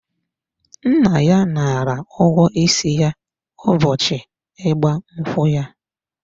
Nna ya nara ụgwọ isi ya ụbọchị ịgba nkwụ ya.